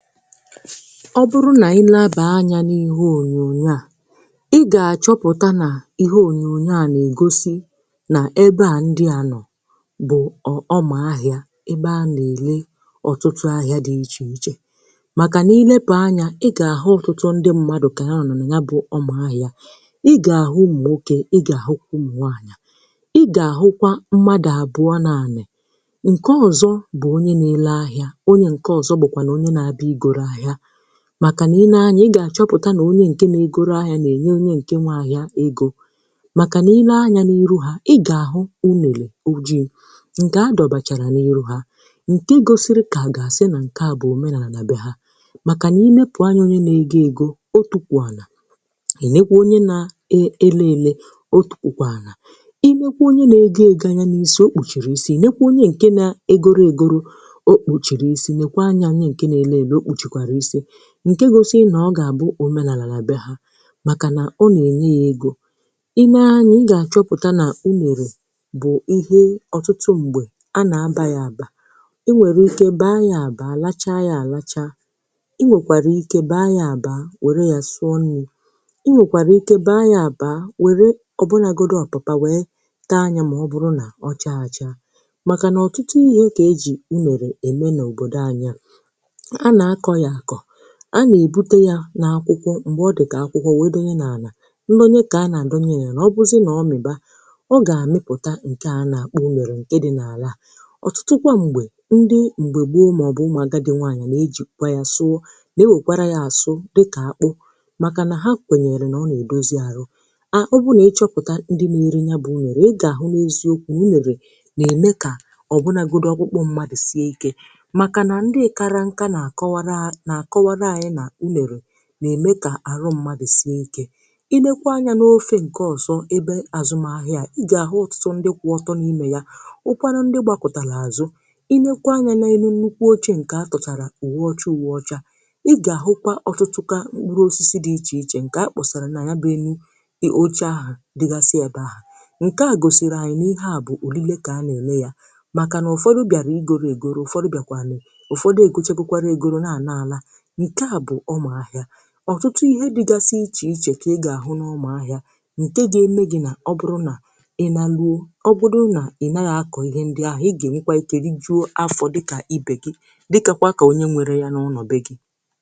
Ọ bụrụ na ị leba anya nke ọma n’ihe onyonyo a, ị ga-achọpụta na ihe onyonyo a na-egosi bụ ahịa. Nke a bụ ebe a na-ere ihe dị iche iche. Ọ bụrụ na ị leba anya gburugburu, ị ga-achọpụta na ọtụtụ mmadụ gbakọtara ebe ahụ. Ị ga-ahụ ndị na-ere ahịa. Ị ga-ahụ ụmụ nwanyị. Ị ga-ahụkwa mmadụ abụọ kpọmkwem — otu bụ onye na-azụ ihe, onye nke ọzọ bụ onye na-ere ahịa. Ọ bụrụ na ị leba anya nke ọma, ị ga-achọpụta na onye na-ere ahịa na-enye onye ahịa mmanya nkwu. Ị ga-ahụ ite ojii dị n’ihu ha, um nke na-egosi na nke a bụ omenala ha. Onye ahịa ahụ kpuchiri isi ya, nke gosikwara na nke a bụ akụkụ nke omenala, mgbe a na-enye ya mmanya nkwu. Mmanya nkwu bụ ihe a na-eji n’ụzọ dị iche iche. Mgbe ụfọdụ, a na-aṅụ ya mgbe ọ ka bụ ọhụrụ. Mgbe ụfọdụ, a na-ahapụ ya ka ọ tọọ. O nwekwara ike ịpụta ozugbo n’osisi nkwu, ma ọ bụ sụọ ya mee ka ọ bụrụ ihe siri ike karị. Mmanya nkwu bụ ihe a na-ejikarị eme ihe n’obodo. Mgbe ụfọdụ, a na-awụsa ya note emume omenala. Mgbe ụfọdụ, a na-eji ya mee emume nsọ. Mgbe ụfọdụ, a na-aṅụ ya dị ka nri. Ndị agadi kwenyere na ọ na-eme ka ahụ sie ike, ma ụfọdụ ụmụ nwanyị na-eji ya esi nri dịka akpụ. Ndị mmadụ na-asịkwa na mmanya nkwu na-eme ka ọkpụkpụ sie ike um ma mee ka ahụ dị mma. Ọ bụrụ na ị leba anya n’akụkụ ọzọ nke ahịa a, ị ga-achọpụta na ọtụtụ ndị guzo n’ebe ahụ na-akparịta ụka. Ị ga-ahụkwa na e tinyere nnukwu tebụl nke a kpuchiri akwa ọcha. N’elu tebụl a, e sere mkpụrụ osisi dị iche iche, na-egosi na e nwere ọtụtụ ihe a na-ere n’ahịa a. N’ikpeazụ, nke a na-egosi anyị na ahịa bụ ebe olileanya, ebe ndị mmadụ na-abịa izụta ihe na ire ihe. Ụfọdụ na-abịan ire mmanya nkwu. Ụfọdụ na-ewetara ọtụtụ mkpụrụ osisi. Ndị ọzọ na-ewetara ihe ubi dị iche iche. N’ikpeazụ, ihe ị ga-enweta n’ahịa dabere na ma ị na-akụ ugbo ma na-eme ahịa. N’ihi na ọ bụrụ na ị naghị akpọrọ ihe n’ugbo, ị gaghị enwe otu ihe dị ka agbataobi gị onye na-akụ ugbo ma na-eme ahịa.